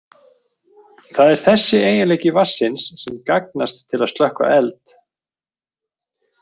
Það er þessi eiginleiki vatnsins sem gagnast til að slökkva eld.